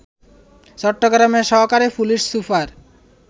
চট্টগ্রামের সহকারী police super